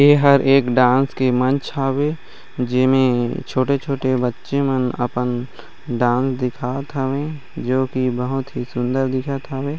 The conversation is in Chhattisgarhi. एह हर एक डांस के मंच हवे जे में छोटे-छोटे बच्चे मन अपन डांस दिखावत हवे जो की बहुत ही सुन्दर दिखत हवे।